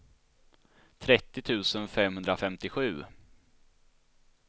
trettio tusen femhundrafemtiosju